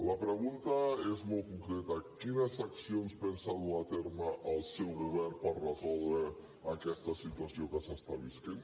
la pregunta és molt concreta quines accions pensa dur a terme el seu govern per resoldre aquesta situació que s’està vivint